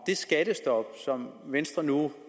det skattestop som venstre nu